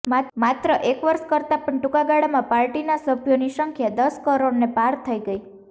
માત્ર એક વર્ષ કરતાં પણ ટૂંકાગાળામાં પાર્ટીના સભ્યોની સંખ્યા દશ કરોડને પાર થઈ ગઈ